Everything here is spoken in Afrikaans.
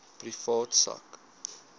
privaat sak